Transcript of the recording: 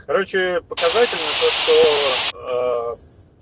короче показательно то что